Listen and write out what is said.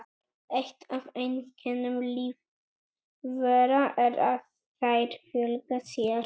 Eitt af einkennum lífvera er að þær fjölga sér.